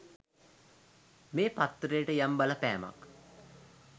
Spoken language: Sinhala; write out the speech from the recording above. මේ පත්තරේට යම් බලපෑමක්.